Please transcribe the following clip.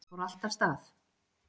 Þá fór allt af stað